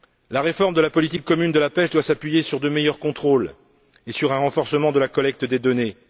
La réforme de la politique commune de la pêche doit s'appuyer sur de meilleurs contrôles et sur un renforcement de la collecte des données.